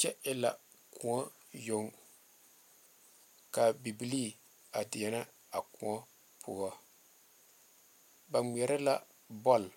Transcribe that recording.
Kyɛ e la koɔ yoŋ ka bibilii a deɛnɛ a koɔ poɔ ba ŋmeɛrɛ la bɔle